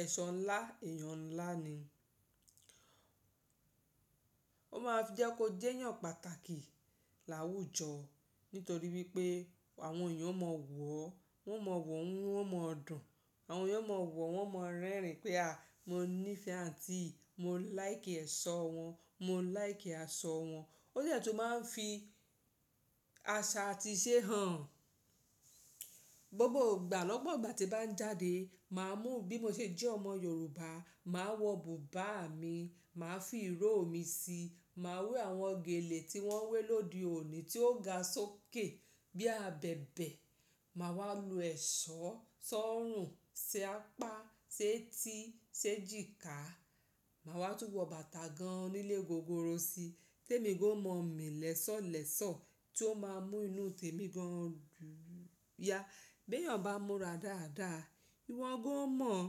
Ẹ̀ṣọ́ ńlá, èèyàn ńlá ni. Ó máa fi jẹ́ kó jẹ́yàn pàtàkì láwùjọ nítorí wípé àwọn èèyàn ó mọ wọ̀ ọ́, wọ́n mọ wọ̀ ọ́ inu wọ́n ó mọ dùn. Àwọn èèyàn ó mọ wọ̀ ọ́, wọ́n ó mọ rẹ́rìn pé "à mo ní ìfẹ́ àǹtí yìí, mo láìkí ẹ̀ṣọ́ wọn, mo láìkí aṣọ wọn." Ó jẹ́ tu máa ń fi aṣa àti ìṣe hàn. Gbogbo ìgbà lọ́gbọ̀n ìgbà tí bá ń jáde, màá mú bí mo ṣe jẹ́ ọmọ Yorùbá, màá wọ bùbá mi, màá fi ìró mi síi, màá wé àwọn gèlè tí wọ́n wé lóde òní tí ó ga sókè bí abẹ̀bẹ̀. Màá wá lo ẹ̀ṣọ́ sọ́rùn, ṣi apá, ṣe etí, ṣe ejìkà. Màá wá tún wọ bàtà gan onílé gogoro síi. Tẹ́mi gan ó mọ mi lẹ́sọ̀ọ́lẹ́sọ̀ọ́ tí ó máa mú inú temi gan dúya. Béyàn bá múra dáadáa, ìwọ gan ó mọ̀ ọ́n.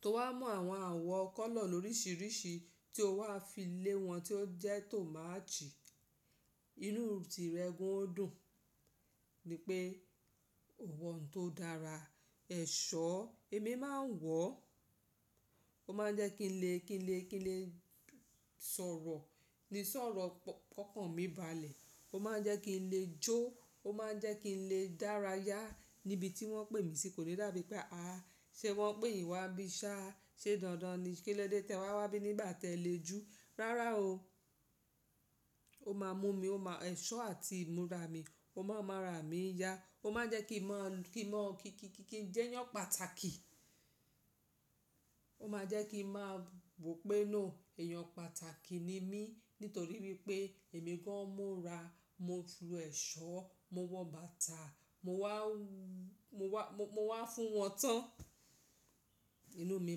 Tó wá mú àwọn àwọ̀ kọ́lọ̀ loríṣiríṣi tí ó wá fi lé wọn tí ó jẹ́ tò mátch ì. Inú ti rẹ gún ó dùn. Ni pé, ò wọ̀ oun tó dára. Ẹ̀ṣọ́, èmi máa ń wọ̀ ọ́n. Ó máa ń jẹ́ kí n lè, kí n lè, kí n lè sọ̀rọ̀ ní sọ̀rọ̀ kọ̀ọ̀kan mi balẹ̀. Ó máa ń jẹ́ kí n lè jó. Ó máa ń jẹ́ kí n lè dára yá níbi tí wọ́n pè mí sí. Kò ní dàbí pé, "àá ṣe wọ́n pè yín wá bí ṣáà, ṣé dandan ni kí lọ dé tẹ wá wá bí i nígbà tẹ lè jó." Rárá o, ó máa mú mi, ó máa ẹ̀ṣọ́ àti ìmúra mi, ó máa ń mú ara mi yá. Ó máa ń jẹ́ kí n mọ̀, kí n mọ̀, kí n jẹ́yàn pàtàkì. Ó máa ń jẹ́ kí ń máa wò pé no, èèyàn pàtàkì ni mí nítorí wípé èmi gan mu ra, mo ju ẹ̀ṣọ́, mo wọ bàtà, mo wá, mo wá, mo wá fún wọn tán. Inú mi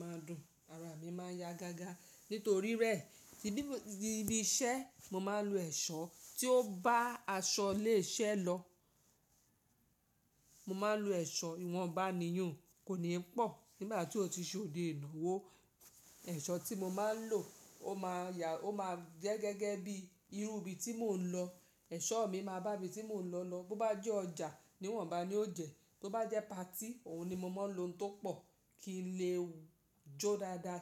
máa ń dùn, ara mi máa ń yá gágá. Nítorí rẹ̀ níbi iṣẹ́ mo máa ń lo ẹ̀ṣọ́ tí ó bá aṣọ lè iṣẹ́ lọ. Mo máa ń lo ẹ̀ṣọ́ ìwọ̀nba ní yun kò ní pọ̀. Nígbà tí ó ti ṣe òde ìnáwó, ẹ̀ṣọ́ tí mo máa ń lò ó máa ya, ó máa jẹ́ gẹ́gẹ́ bí irú ibi tí mò ń lọ. Ẹ̀ṣọ́ mi máa bá ibi tí mò ń lọ lọ. Bo bá jẹ́ ọjà ni ìwọ̀nba ni ó jẹ́. Bo bá jẹ́ partí, òun ni mo máa ń lo òun tó pọ̀ kí n lè jó dáadáa.